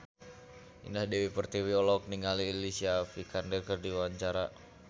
Indah Dewi Pertiwi olohok ningali Alicia Vikander keur diwawancara